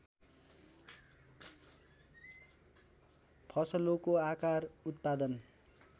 फसलोको आकार उत्पादन